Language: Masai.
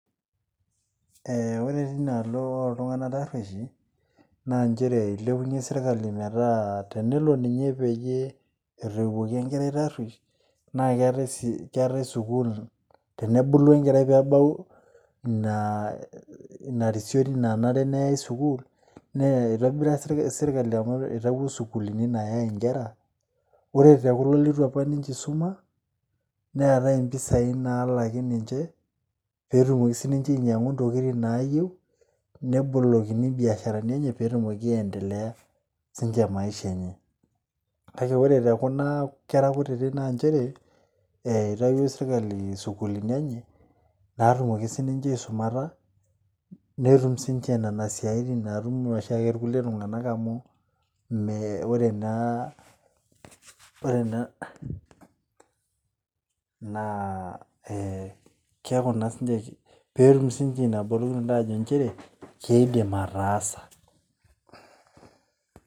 Ore tinaalo oltunganak aruoish naa ketii sirkali metaa tenelo peyie etoiwuoki enkerai taruoish naa keetae sukul, tenebulu nebau inarisioti nanare neyae sukul , ore tekulo litu isuma, neetae impisai nalaki ninche petumoki ninche ainyiangu ntokitin nayieu , nebolokini imbiasharani enye petumoki aendelea sinche maisha enye , kake ore tekuna kera kutiti naa nchere eitayio sirkali sukulini enye natumoki siniche aisumata netumsinche nena siatin natum kulie tunganak .